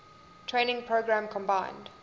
training program combined